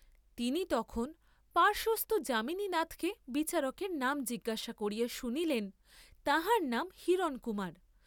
তিনি তখন, পার্শ্বস্থ যামিনীনাথকে বিচারকের নাম জিজ্ঞাসা করিয়া শুনিলেন তাঁহার নাম হিরণকুমার।